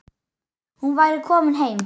Hún væri komin heim.